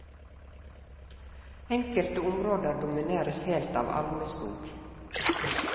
Enkelte områder domineres helt av almeskog.